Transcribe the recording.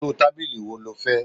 Irú tábìlì wo ló fẹ́?